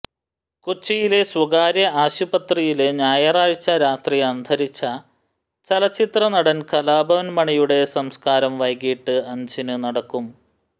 കൊച്ചിയിലെ സ്വകാര്യ ആശുപത്രിയില് ഞായറാഴ്ച രാത്രി അന്തരിച്ച ചലച്ചിത്ര നടന് കലാഭവന് മണിയുടെ സംസ്കാരം വൈകിട്ട് അഞ്ചിനു നടക്കും